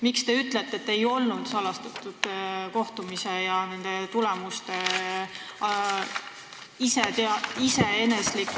Miks te ütlete, et tegu ei olnud salastatud kohtumisega?